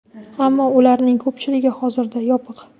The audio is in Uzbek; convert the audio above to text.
Ammo ularning ko‘pchiligi hozirda yopiq.